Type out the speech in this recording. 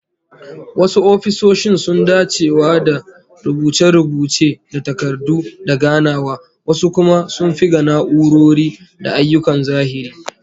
Wasu ofisoshin sun dacewa da rubuce-rubuce da takardu da ganawa, wasu kuma sun fi ga na'urori da ayyukan zahiri